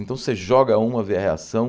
Então, você joga uma, vê a reação.